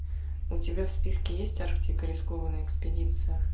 у тебя в списке есть арктика рискованная экспедиция